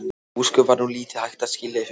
Ósköp var nú lítið hægt að skilja í fyrstu.